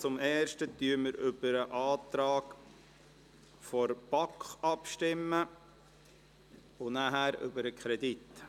Zuerst stimmen wir über den Antrag der BaK ab, anschliessend über den Kredit.